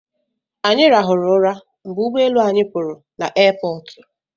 Anyị rahụrụ ụra mgbe ụgbọelu anyị pụrụ na aiipọọtụ